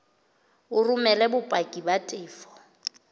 o romele bopaki ba tefo